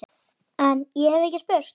En- ég hef ekki spurt.